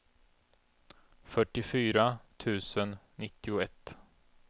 fyrtiofyra tusen nittioett